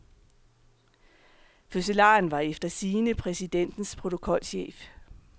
Fødselaren var efter sigende præsidentens protokolchef.